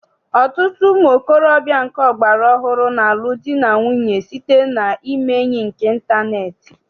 Ọtụtụ ụmụntorobịa nke ọgbara ọhụrụ na-alụ di na nwunye site na ime enyi nke ịntaneetị.